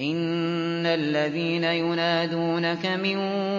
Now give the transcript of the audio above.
إِنَّ الَّذِينَ يُنَادُونَكَ مِن